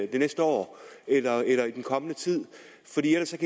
det næste år eller eller i den kommende tid fordi ellers